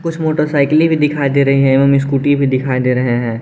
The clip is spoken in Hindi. कुछ मोटरसाइकिल भी दिखाई दे रहे हैं एवं स्कूटी भी दिखाई दे रहे हैं।